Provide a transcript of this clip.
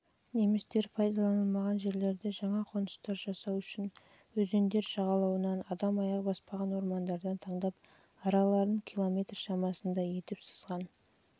немістер пайдаланылмаған жерлерді жаңа қоныстар жасау үшін өзендер жағалауынан адам аяғы баспаған ормандардан таңдап араларын километр шамасында етіп